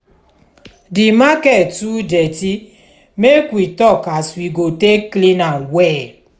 di market too dirty make we tok as we go take clean am well.